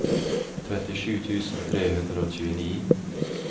trettisju tusen tre hundre og tjueni